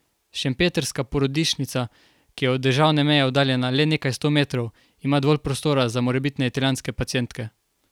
Šempetrska porodnišnica, ki je od državne meje oddaljena le nekaj sto metrov, ima dovolj prostora za morebitne italijanske pacientke.